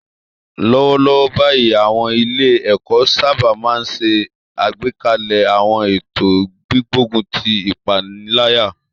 Lọ́wọ́lọ́wọ́ báyìí, àwọn ilé-ẹ̀kọ́ sábà máa ń ṣe àgbékalẹ̀ àwọn ètò gbígbógun ti ìpaniláyà